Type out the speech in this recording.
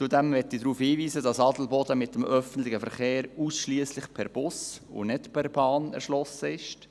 Zudem möchte ich darauf hinweisen, dass Adelboden mit dem öffentlichen Verkehr ausschliesslich per Bus und nicht per Bahn erschlossen ist.